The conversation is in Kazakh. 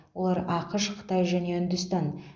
олар ақш қытай және үндістан